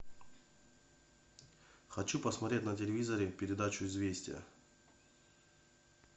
хочу посмотреть на телевизоре передачу известия